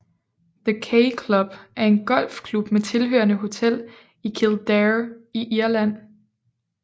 The K Club er en golfklub med tilhørende hotel i Kildare i Irland